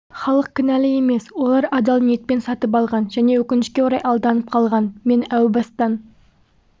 халық кінәлі емес олар адал ниетпен сатып алған және өкінішке орай алданып қалған мен әу бастан